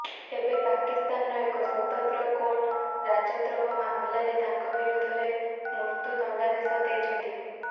ଏବେ ପାକିସ୍ତାନର ଏକ ସ୍ୱତନ୍ତ୍ର କୋର୍ଟ ରାଜଦ୍ରୋହ ମାମଲାରେ ତାଙ୍କ ବିରୋଧରେ ମୃତ୍ୟୁ ଦଣ୍ଡାଦେଶ ଦେଇଛନ୍ତି